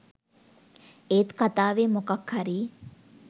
ඒත් කතාවේ මොකක් හරි